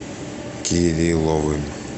кирилловым